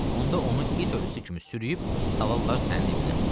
Onda onu it ölüsü kimi sürükləyib salarlar sənin evinə.